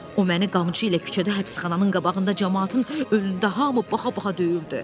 O məni qamçı ilə küçədə həbsxananın qabağında camaatın önündə hamı baxa-baxa döyürdü.